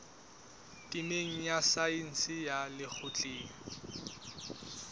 temeng ya saense ya lekgotleng